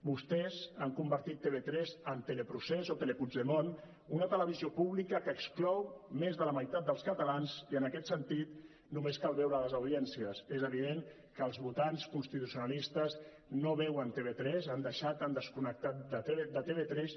vostès han convertit tv3 en teleprocés o telepuigdemont una televisió pública que exclou més de la meitat dels catalans i en aquest sentit només cal veure les audiències és evident que els votants constitucionalistes no veuen tv3 han deixat han desconnectat de tv3